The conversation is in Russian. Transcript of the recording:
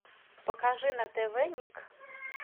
покажи на тв ник